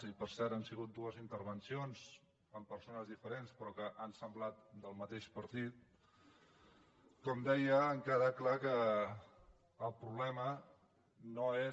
i per cert han sigut dues intervencions amb persones diferents però que han semblat del mateix partit com deia ha quedat clar que el problema no és